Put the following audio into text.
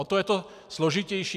O to je to složitější.